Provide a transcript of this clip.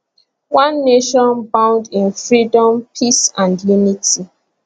one nation bound in freedom peace and unity